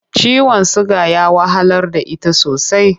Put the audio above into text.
Ciwon suga ya wahalar da ita sosai.